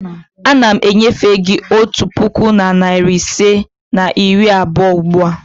Ana m enyefe gị otu puku na narị ise na iri abụọ ugbu a.